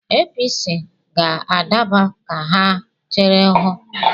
APC ga-adaba, ka ha chere hụ.